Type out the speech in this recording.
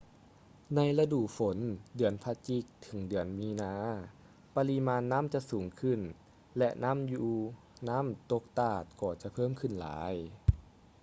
ໃນລະດູຝົນ ເດືອນພະຈິກ ເຖິງ ເດືອນມີນາ ປະລິມານນໍ້າຈະສູງຂຶ້ນ ແລະ ນ້ຳຢູ່ນ້ຳຕົກຕາດກໍຈະເພີ່ມຂຶ້ນຫຼາຍ